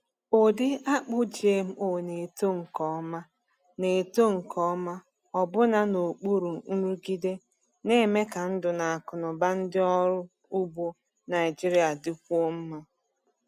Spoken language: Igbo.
Ụdị akpụ GMO na-eto nke ọma na-eto nke ọma ọbụna n’okpuru nrụgide, na-eme ka ndụ na akụnụba ndị ọrụ ugbo Naijiria dịkwuo mma.